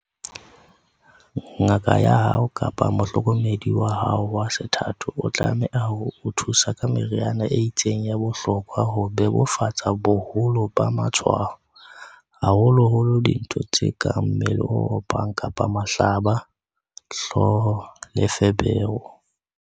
"Ngaka ya hao kapa mohlokomedi wa hao wa sethatho o tlameha o thusa ka meriana e itseng ya bohlokwa ho bebofatsa boholo ba matshwao, haholoholo dintho tse kang mmele o opang kapa mahlaba, hlooho le feberu."